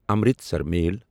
Amritsar میل